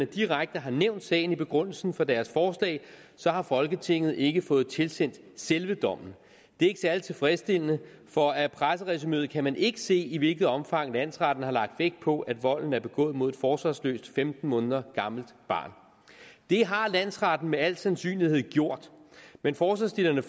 direkte har nævnt sagen i begrundelsen for deres forslag så har folketinget ikke fået tilsendt selve dommen det er ikke særlig tilfredsstillende for af presseresumeet kan man ikke se i hvilket omfang landsretten har lagt vægt på at volden er begået mod et forsvarsløst femten måneder gammelt barn det har landsretten med al sandsynlighed gjort men forslagsstillerne